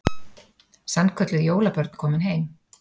Sannkölluð jólabörn komin heim